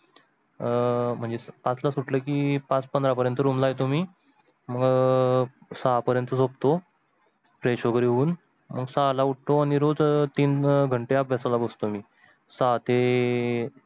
अं म्हणजे पाच ला सुटल कि पाच पंधरा पर्यंत room ला येतो मी मग सहा पर्यंत झोपतो Fresh वगेरे होऊन मग सहा ला उटो आनी रोज तीन घंटे अभ्यसाला बसतो मी सहा ते.